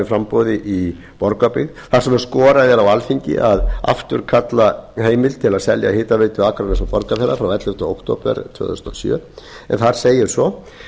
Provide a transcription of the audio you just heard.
framboði í borgarbyggð þar sem skorað er á alþingi að afturkalla heimild til að selja hitaveitu akraness og borgarfjarðar frá ellefta október tvö þúsund og sjö en þar segir svo